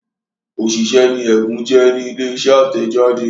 òṣìṣẹ́ ni Ẹ̀bùn jẹ́ ní ilé iṣẹ́ atẹjade.